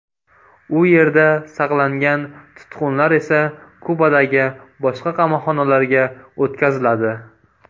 U yerda saqlangan tutqunlar esa Kubadagi boshqa qamoqxonalarga o‘tkaziladi.